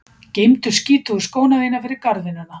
Geymdu skítugu skóna þína fyrir garðvinnuna